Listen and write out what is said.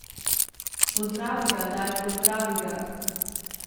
Pozdravi ga, daj, pozdravi ga!